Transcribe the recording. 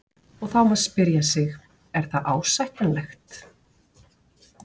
Og þá má spyrja sig, er það ásættanlegt?